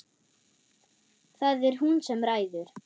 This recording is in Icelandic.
Það er hún sem ræður.